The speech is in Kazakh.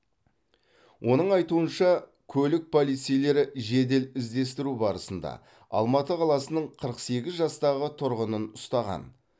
оның айтуынша көлік полицейлері жедел іздестіру барысында алматы қаласының қырық сегіз жастағы тұрғынын ұстаған